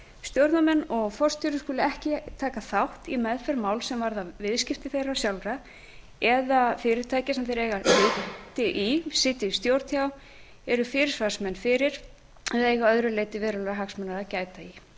stjórnarmenn og forstjóri skulu ekki taka þátt í meðferð máls sem varðar viðskipti þeirra sjálfra eða fyrirtækja sem þeir eiga hluti í sitja í stjórn hjá eru fyrirsvarsmenn fyrir eða eiga að öðru leyti verulegra hagsmuna að gæta í